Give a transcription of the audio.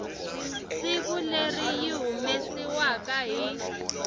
siku leri yi humesiwaku hi